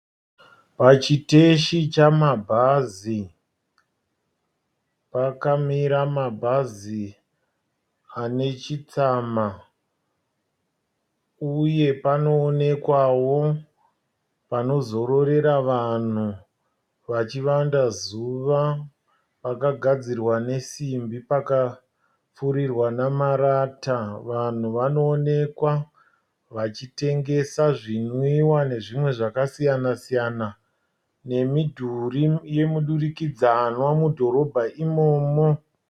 Pachiteshi chamabhazi pakamira mabhazi ane chitsama uye panoonekwawo panozororera vanhu vachivanda zuva pakagadzirwa nesimbi pakapfurirwa nemarata. Vanhu vanoonekwa vachitengesa zvinwiwa nezvimwe zvakasiyana siyana nemidhuri yemudurikidzanwa mudhorobha imomo.